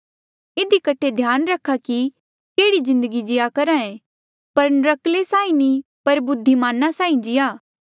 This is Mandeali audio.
इधी कठे ध्याना रखा कि केह्ड़ी जिन्दगी जीया करहे पर नर्क्कले साहीं नी पर बुद्धिमाना साहीं जीया